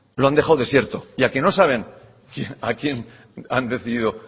lo han dejado desierto y a que no saben a quién han decidido